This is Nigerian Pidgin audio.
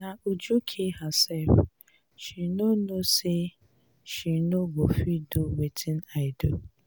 na uju kill herself. she no know say she no go fit do wetin i do.